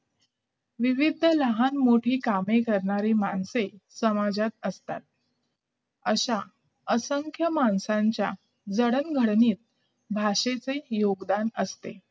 विविध लहान-मोठे काम करणारी माणसे समाजात असतात अशा असंख्य माणसांच्या जडणघडणीत भाषेचे योगदान असते